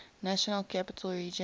national capital region